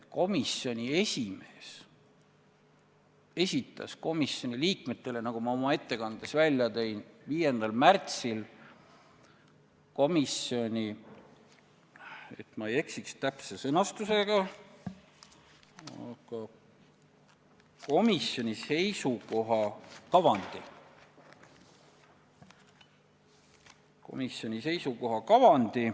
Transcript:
Komisjoni esimees esitas komisjoni liikmetele, nagu ma oma ettekandes välja tõin, 5. märtsil komisjoni ...– ma ei tahaks täpse sõnastusega eksida – komisjoni seisukoha kavandi.